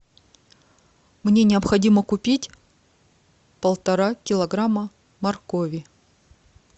мне необходимо купить полтора килограмма моркови